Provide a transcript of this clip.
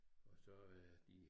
Og så er de